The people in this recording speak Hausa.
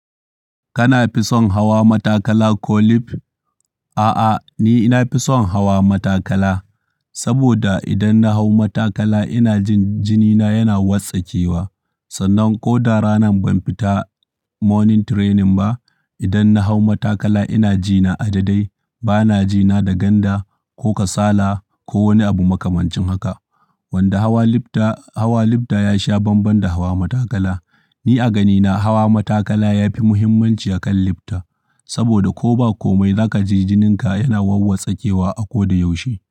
Kana fi son hawa matakala ko lif? A'a, ni nafi son hawa matakala, saboda idan na hau matakala ina jin jinina yana watsakewa. Sannan ko da ranan ban fita morning training ba, idan na hau matakala ina ji na adadai. Ba na ji na da ganda, ko kasala, ko wani abu makamancin haka. Wanda hawa lifta, hawa lifta ya sha banban da hawa matakala. Ni a ganina hawa matakala yafi muhimmanci akan lifta. Saboda ko ba komai zaka ji jinin ka yana wawwatsakewa a koda yaushe.